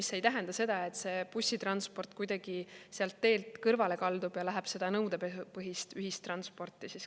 See ei tähenda seda, et bussitransport kuidagi sealt teelt kõrvale kaldub ja läheb nõudepõhist ühistransporti katma.